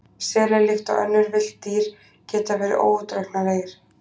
Selir, líkt og önnur villt dýr, geta verið óútreiknanlegir.